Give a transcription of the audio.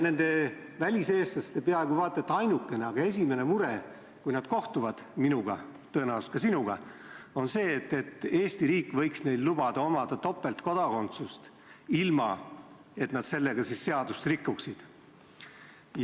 Väliseestlaste peaaegu et ainukene, aga suur soov, kui nad kohtuvad minuga – tõenäoliselt ka sinuga –, on see, et Eesti riik võiks neile lubada topeltkodakondsust, ilma et nad sellega seadust rikuksid.